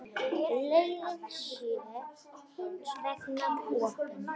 Leiðin sé hins vegar opin.